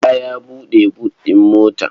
Bala ya buɗe but ɗin mota.